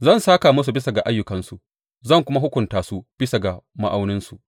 Zan sāka musu bisa ga ayyukansu, zan kuma hukunta su bisa ga ma’auninsu.